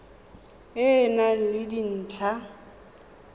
e e nang le dintlha